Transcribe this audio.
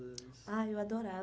Ah, eu